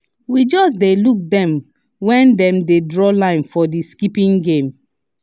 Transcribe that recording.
we just dey look them when dem dey draw line for the skipping game